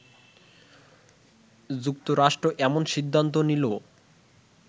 যুক্তরাষ্ট্র এমন সিদ্ধান্ত নিলো